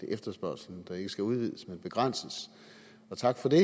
efterspørgslen der ikke skal udvides men begrænses og tak for det